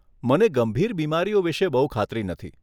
મને ગંભીર બીમારીઓ વિષે બહુ ખાતરી નથી.